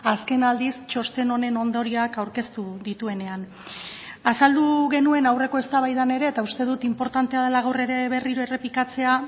azken aldiz txosten honen ondorioak aurkeztu dituenean azaldu genuen aurreko eztabaidan ere eta uste dut inportantea dela gaur ere berriro errepikatzea